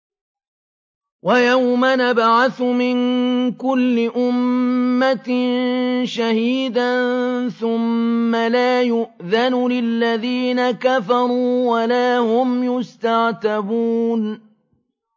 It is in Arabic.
وَيَوْمَ نَبْعَثُ مِن كُلِّ أُمَّةٍ شَهِيدًا ثُمَّ لَا يُؤْذَنُ لِلَّذِينَ كَفَرُوا وَلَا هُمْ يُسْتَعْتَبُونَ